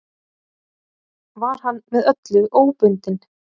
Var hann með öllu óbundinn.